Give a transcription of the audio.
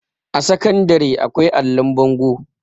a sakandare akwai allon bango